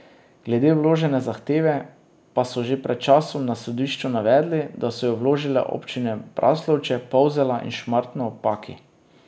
Glede vložene zahteve pa so že pred časom na sodišču navedli, da so jo vložile občine Braslovče, Polzela in Šmartno ob Paki.